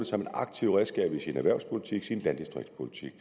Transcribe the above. som et aktivt redskab i sin erhvervspolitik og sin landdistriktspolitik